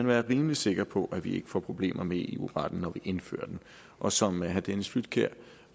være rimelig sikre på at vi ikke får problemer med eu retten når vi indfører den og som herre dennis flydtkjær